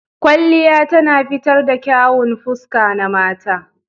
Kwalliya tana fitar da kyawun fuska na mata